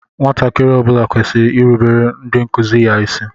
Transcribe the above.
Nwatakịrị ọ bula kwesịrị irubere ndị nkụzi ya ịsị.